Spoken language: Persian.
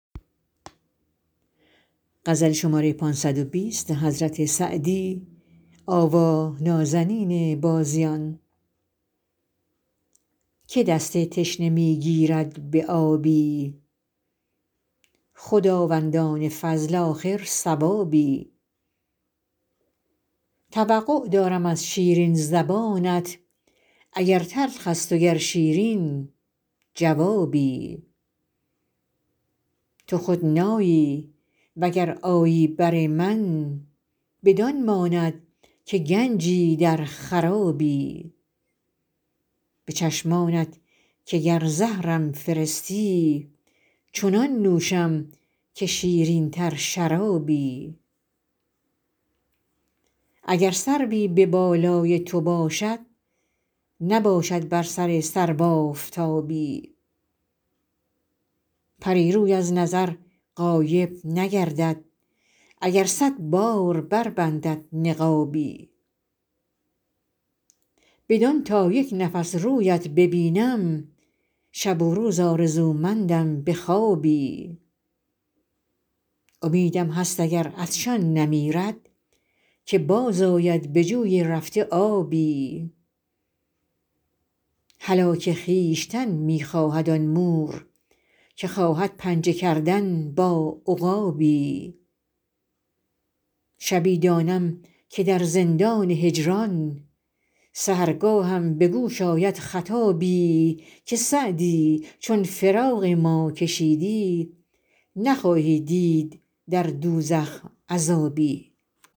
که دست تشنه می گیرد به آبی خداوندان فضل آخر ثوابی توقع دارم از شیرین زبانت اگر تلخ است و گر شیرین جوابی تو خود نایی و گر آیی بر من بدان ماند که گنجی در خرابی به چشمانت که گر زهرم فرستی چنان نوشم که شیرین تر شرابی اگر سروی به بالای تو باشد نباشد بر سر سرو آفتابی پری روی از نظر غایب نگردد اگر صد بار بربندد نقابی بدان تا یک نفس رویت ببینم شب و روز آرزومندم به خوابی امیدم هست اگر عطشان نمیرد که باز آید به جوی رفته آبی هلاک خویشتن می خواهد آن مور که خواهد پنجه کردن با عقابی شبی دانم که در زندان هجران سحرگاهم به گوش آید خطابی که سعدی چون فراق ما کشیدی نخواهی دید در دوزخ عذابی